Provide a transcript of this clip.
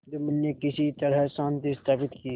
जुम्मन ने किसी तरह शांति स्थापित की